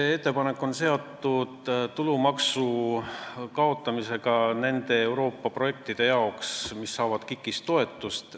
See ettepanek on seotud tulumaksu kaotamisega nende Euroopa projektide puhul, mis saavad KIK-ist toetust.